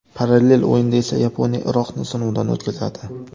Parallel o‘yinda esa Yaponiya Iroqni sinovdan o‘tkazadi.